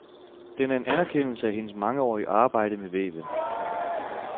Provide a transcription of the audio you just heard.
Den er en anerkendelse af hendes mangeårige arbejde ved væven.